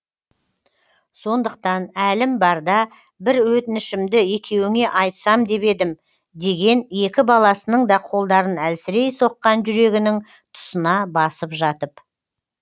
сондықтан әлім барда бір өтінішімді екеуіңе айтсам деп едім деген екі баласының да қолдарын әлсірей соққан жүрегінің тұсына басып жатып